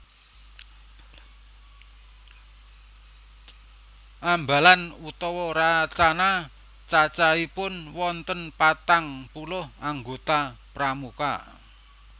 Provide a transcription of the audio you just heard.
Ambalan utawa Racana cacahipun wonten patang puluh anggota Pramuka